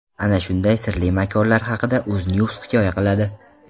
Ana shunday sirli makonlar haqida UzNews hikoya qiladi .